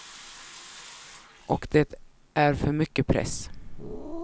Och det är för mycket press.